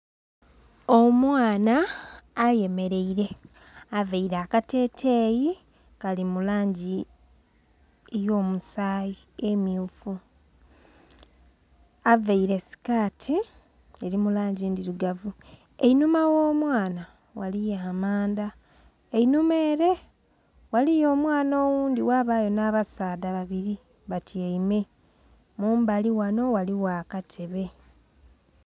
Omwana ayemeleire. Availe akateteeyi kali mu langi ey'omusaayi emyufu. Availe sikati eli mu langi ndhirugavu. Einhuma gh'omwana waliyo amanda, einhuma ere waliyo omwana oghundi ghabayo nh'abasaadha babiri batyaime. Mumbali ghano waliwo akatebe.